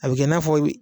A bi kɛ i n'a fɔ